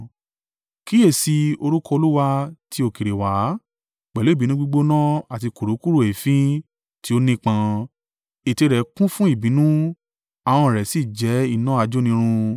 Kíyèsi i, orúkọ Olúwa ti òkèèrè wá pẹ̀lú ìbínú gbígbóná àti kurukuru èéfín tí ó nípọn; ètè rẹ̀ kún fún ìbínú ahọ́n rẹ̀ sì jẹ́ iná ajónirun.